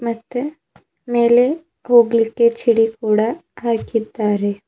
ಮತ್ತೆ ಮೇಲೆ ಹೋಗ್ಲಿಕ್ಕೆ ಚಿಡಿ ಕೂಡ ಹಾಕಿದ್ದಾರೆ.